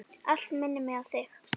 Allt minnir mig á þig.